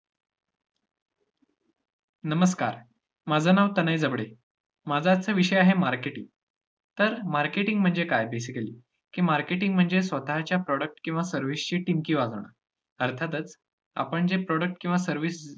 नमस्कार, माझं नाव तनय जबडे. माझा आजचा विषय आहे marketing तर marketing म्हणजे काय basically? की marketing म्हणजे स्वतःच्या product किंवा service ची टिमकी वाजवणं. अर्थातच, आपण जे product किंवा service जे~